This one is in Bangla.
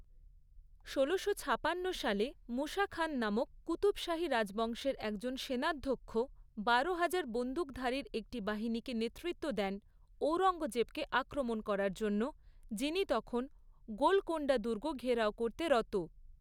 ষোলোশো ছাপান্ন সালে মুসা খান নামক কুতুব শাহী রাজবংশের একজন সেনাধ্যক্ষ বারোহাজার বন্দুকধারীর একটি বাহিনীকে নেতৃত্ব দেন ঔরঙ্গজেবকে আক্রমণ করার জন্য যিনি তখন গোলকোণ্ডা দুর্গ ঘেরাও করতে রত।